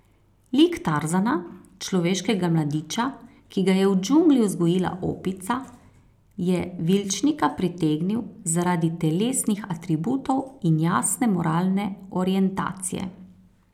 Lik Tarzana, človeškega mladiča, ki ga je v džungli vzgojila opica, je Vilčnika pritegnil zaradi telesnih atributov in jasne moralne orientacije.